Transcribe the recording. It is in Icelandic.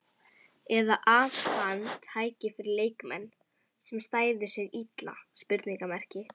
Eða að hann tæki fyrir leikmenn, sem stæðu sig illa?